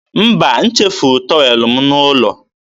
mba, m chefuru tọwel m n'ụlọ.